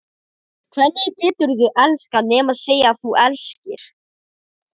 Hvernig geturðu elskað nema segja að þú elskir?